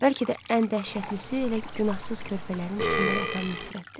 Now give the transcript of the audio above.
Bəlkə də ən dəhşətlisi elə günahsız körpələrin içində yatan nifrətdir.